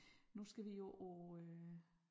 Nu skal vi jo på øh